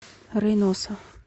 рейноса